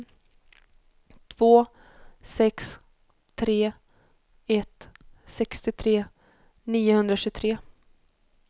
två sex tre ett sextiotre niohundratjugotre